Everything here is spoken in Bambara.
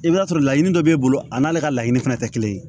I bɛ t'a sɔrɔ laɲini dɔ b'e bolo a n'ale ka laɲini fana tɛ kelen ye